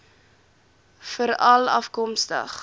veralafkomstig